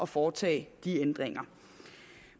foretage disse ændringer